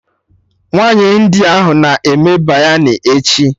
Nwaanyi India ahụ a na-eme Biryani echi?